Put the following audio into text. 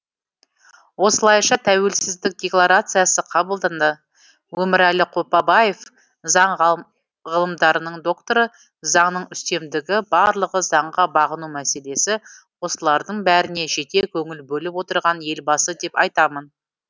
осылайша тәуелсіздік декларациясы қабылданды өмірәлі қопабаев заң ғылымдарының докторы заңның үстемдігі барлығы заңға бағыну мәселесі осылардың бәріне жете көңіл бөліп отырған елбасы деп айтамын